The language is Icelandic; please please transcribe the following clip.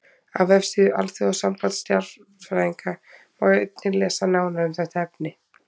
Á vefsíðu Alþjóðasambands stjarnfræðinga má einnig lesa nánar um þetta efni.